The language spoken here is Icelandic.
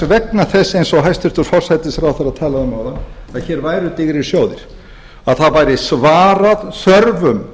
vegna þess eins og hæstvirtur forsætisráðherra talaði um áðan að hér væru digrir sjóðir að það væri svarað þörfum